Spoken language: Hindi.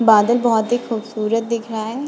बादल बहुत ही खूबसूरत दिख रहा है।